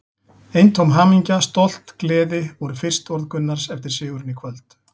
Eintóm hamingja, stolt, gleði voru fyrstu orð Gunnars eftir sigurinn í kvöld.